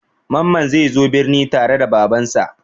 Mamman zai zo birni tare da Babansa.